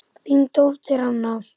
Þín dóttir Anna.